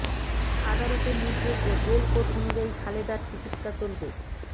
আদালতের নির্দেশ ও জেল কোড অনুযায়ী খালেদার চিকিৎসা চলবে